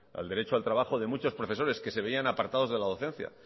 el derecho al trabajo de muchos profesores que se veían apartados de la docencia